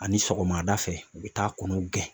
Ani sɔgɔmada fɛ u bi taa kɔnɔw gɛn